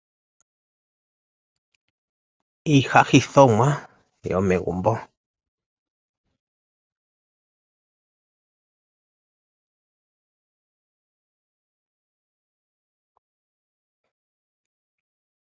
Iihahithomwa yomegumbo. Oya simana unene oshoka oyohayi landwa kaantu moositola.